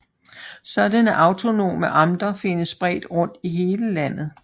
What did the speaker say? Sådanne autonome amter findes spredt rundt i hele landet